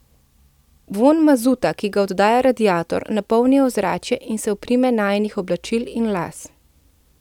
Vonj mazuta, ki ga oddaja radiator, napolni ozračje in se oprime najinih oblačil in las.